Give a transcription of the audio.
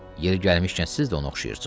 Yeri gəlmişkən siz də ona oxşayırsız.